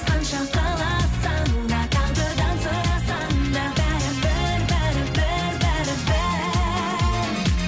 қанша қаласаң да тағдырдан сұрасаң да бәрібір бәрібір бәрібір